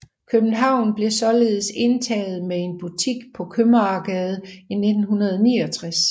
København blev således indtaget med en butik på Købmagergade i 1969